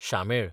शामेळ